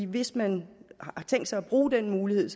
hvis man har tænkt sig at bruge den mulighed